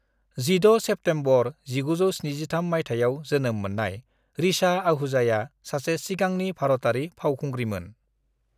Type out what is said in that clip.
16 September 1973 मायथाइयाव जोनोम मोननाय ऋचा आहूजाया सासे सिगांनि भारतारि फावखुंग्रिमोन।